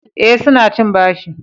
Eh, su na cin bashi